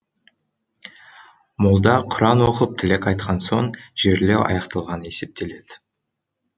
молда құран оқып тілек айтқан соң жерлеу аяқталған есептеледі